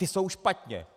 Ta jsou špatně.